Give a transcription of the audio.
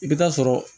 I bɛ taa sɔrɔ